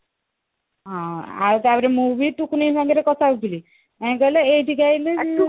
ହଁ ଆଉ ତାପରେ ମୁଁ ବି ଟୁକୁନି ସାଙ୍ଗରେ କଥା ହେଇଥିଲି କଇଁ କହଲ ଏଇଠିକି